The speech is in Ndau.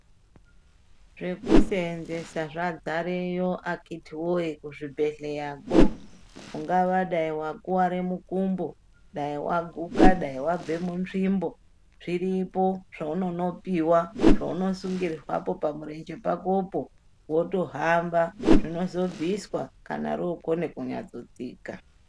Zvekuseenzesa zvadzareyo akhitiwee kuzvibhedhleyakwo, ungava dai wakuware mukumbo, dai waguka, dai wabve munzvimbo, zviripo zvaunonopiwa, zvaunosungirwapo pamurenje pakopo ,wotohamba zvinozobviswa, kana rookone kunyatsotsika.